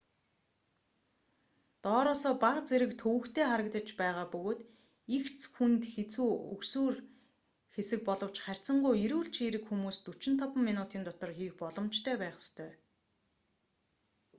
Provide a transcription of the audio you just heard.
доороосоо бага зэрэг төвөгтэй харагдаж байгаа бөгөөд эгц хүнд хэцүү өгсүүр хэсэг боловч харьцангуй эрүүл чийрэг хүмүүс 45 минутын дотор хийх боломжтой байх ёстой